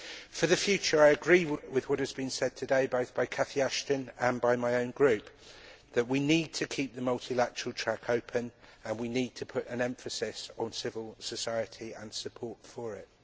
For the future, I agree with what has been said today both by Catherine Ashton and by my own group, that we need to keep the multilateral track open and we need to put an emphasis on civil society and support for it.